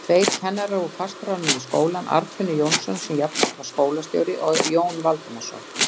Tveir kennarar voru fastráðnir við skólann, Arnfinnur Jónsson, sem jafnframt var skólastjóri, og Jón Valdimarsson.